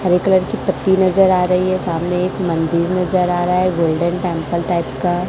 हरे colour की पट्टी नजर आ रही है सामने एक मंदिर नजर आ रहा है गोल्डन टेंपल टाइप का।